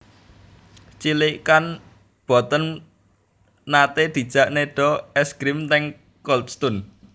Cilikan kula mboten nate dijak nedha es grim teng Cold Stone